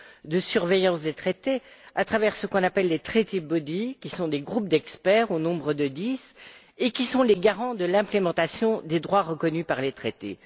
de surveillance des traités à travers ce qu'on appelle les organes de traités, qui sont des groupes d'experts, au nombre de dix, et qui sont les garants de la mise en œuvre des droits reconnus par les traités.